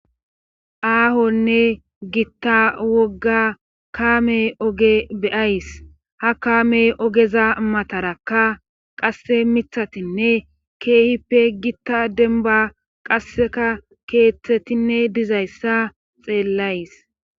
aahonne gitta wogga kaame oge be7ays ha kaame ogeza matarakka qasse mithatinne keehippe gitta denba qasseka keeththetinne dizayssa xeellays.